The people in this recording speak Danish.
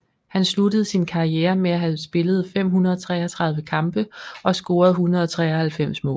Han sluttede sin karriere med at have spillet 533 kampe og scoret 193 mål